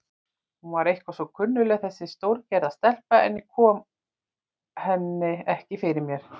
Hún var eitthvað svo kunnugleg þessi stórgerða stelpa, en ég kom henni ekki fyrir mig.